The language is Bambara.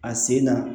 A sen na